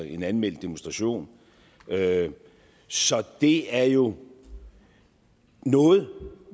en anmeldt demonstration så det er jo noget